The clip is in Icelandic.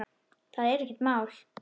Það er ekkert mál.